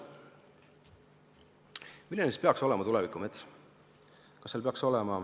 Milline peaks olema tuleviku mets?